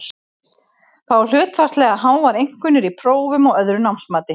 Fá hlutfallslega háar einkunnir í prófum og öðru námsmati.